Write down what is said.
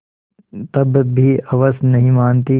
तब भी हवस नहीं मानती